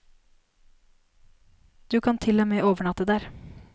Du kan til og med overnatte der.